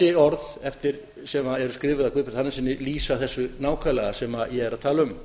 þessi orð sem eru skrifuð af guðbjarti hannessyni lýsa þessu nákvæmlega sem ég er að tala um